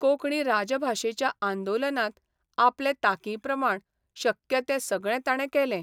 कोंकणी राजभाशेच्या आंदोलनांत आपले तांकीप्रमाण शक्य तें सगळें ताणे केलें.